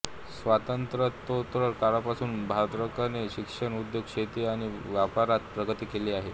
स्वातंत्र्योत्तर काळापासून भद्राकने शिक्षण उद्योग शेती आणि व्यापारात प्रगती केली आहे